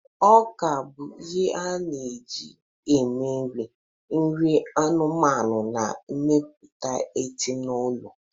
Ọka bụ ihe a na-eji eme nri, nri anụmanụ, na mmepụta etanoolu